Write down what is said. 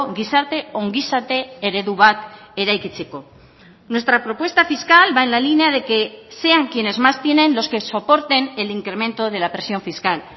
gizarte ongizate eredu bat eraikitzeko nuestra propuesta fiscal va en la línea de quesean quienes más tienen los que soporten el incremento de la presión fiscal